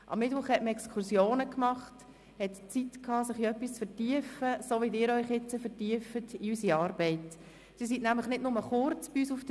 Am Mittwoch machte man Exkursionen, hatte Zeit, sich in etwas zu vertiefen, wie Sie es hier auch tun, indem Sie sich in unsere Arbeit vertiefen.